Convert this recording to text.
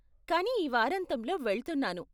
కానీ ఈ వారాంతంలో వెళ్తున్నాను.